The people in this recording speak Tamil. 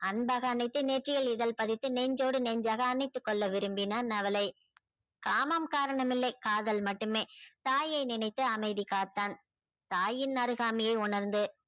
அன்பாக அணைத்து நெற்றியில் இதல் பதித்து நெஞ்சோடு நெஞ்சாக அணைத்து கொள்ள விரும்பினான் அவள காமம் காரணம் இல்லை காதல் மட்டும தாயை நினைத்து அமைதி காத்தான தாயின் அருகாமையை உணர்ந்து